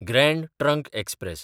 grand Trunk express